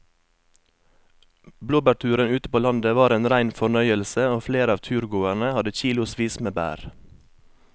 Blåbærturen ute på landet var en rein fornøyelse og flere av turgåerene hadde kilosvis med bær.